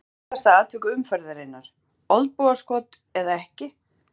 Umdeildasta atvik umferðarinnar: Olnbogaskot eða ekki?